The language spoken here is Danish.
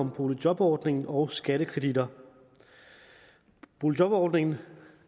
om boligjobordningen og skattekreditter boligjobordningen